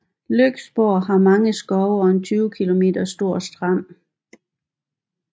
Lyksborg har mange skove og en 20 km stor strand